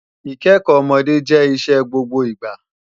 Ìkẹ́kọ́ ọmọdé jẹ́ iṣẹ́ gbogbo ìgbà